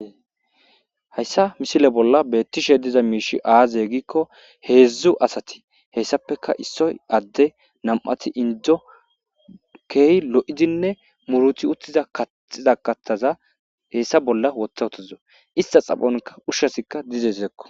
Hayssa misile bolla betishe diza miishshi aazee giiko heezzu asati hesappekka issoy adde, nam7ati inddo,keehi lo7izinne muruti utida kaxxiza kaththaza hessa bolla woththa uttadus. Istta xaphon ushazikka dizeskko.